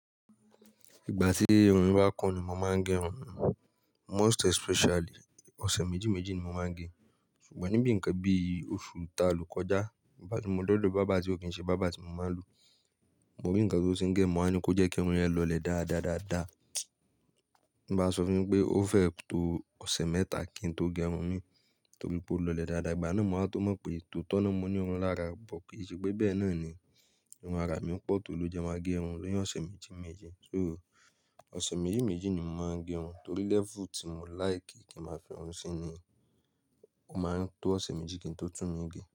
Ìgbà tí irun mi bá kun ni mo máa ń gẹrun, most especially ọ̀sẹ̀ méjì méjì ni mo máa ń gẹ. Ṣùgbọ́n níbi nǹkan bí i oṣù ta lò kọjá, ìbá ti mo dọ́dọ̀ berber ti ó kì í ṣe bàbá tí mo máa ń lo. Mo rí nǹkan tó ṣe ń gẹ́ mọ́ á ní kó jẹ́ kí irun ẹ lọlẹ̀ dáa, dáa, dáa, dáa. Bí bá sọ fún mi pé ó fẹ́ to ọ̀sẹ̀ mẹ́ta kí n tó gẹrun mi torí pé ó lọlẹ̀ dáadáa, ìgbà náà mo máa tó mọ̀ pé totọ́ ni mo ní irun lára but ko ṣé pé bẹ́ẹ̀ náà ni irun àrà mi pọ̀ tó ló jẹ máa gẹrun ni ọ̀sẹ̀ méjì méjì. So ọ̀sẹ̀ méjì méjì ni mo máa ń gẹrun torí lẹ́fù tí mo láìkì kí n máa fi irun sí niyen o máa ń tó ọ̀sẹ̀ méjì kí n tó tún mí gẹ.